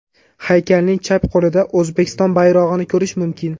Haykalning chap qo‘lida O‘zbekiston bayrog‘ini ko‘rish mumkin.